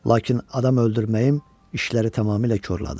Lakin adam öldürməyim işləri tamamilə korladı.